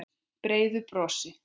Brosir breiðu brosi.